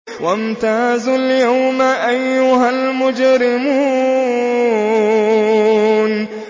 وَامْتَازُوا الْيَوْمَ أَيُّهَا الْمُجْرِمُونَ